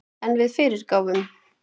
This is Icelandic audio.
En við fyrirgáfum